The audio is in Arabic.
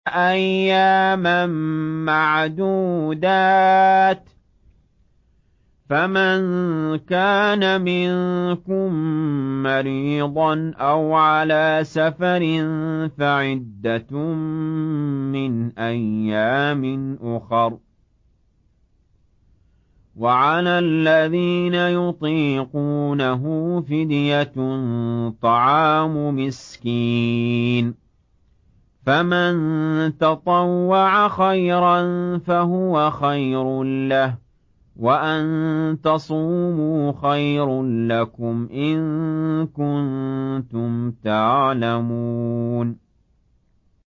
أَيَّامًا مَّعْدُودَاتٍ ۚ فَمَن كَانَ مِنكُم مَّرِيضًا أَوْ عَلَىٰ سَفَرٍ فَعِدَّةٌ مِّنْ أَيَّامٍ أُخَرَ ۚ وَعَلَى الَّذِينَ يُطِيقُونَهُ فِدْيَةٌ طَعَامُ مِسْكِينٍ ۖ فَمَن تَطَوَّعَ خَيْرًا فَهُوَ خَيْرٌ لَّهُ ۚ وَأَن تَصُومُوا خَيْرٌ لَّكُمْ ۖ إِن كُنتُمْ تَعْلَمُونَ